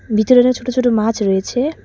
ভিতরেটা ছোট ছোট মাছ রয়েছে।